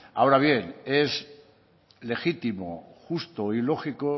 ahora bien es legítimo justo y lógico